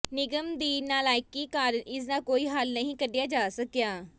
ਨਿਗਮ ਦੀ ਨਾਲਾਇਕੀ ਕਾਰਨ ਇਸ ਦਾ ਕੋਈ ਹੱਲ ਨਹੀਂ ਕੱਢਿਆ ਜਾ ਸਕਿਆ